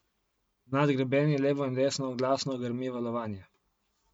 Nad grebeni levo in desno glasno grmi valovanje.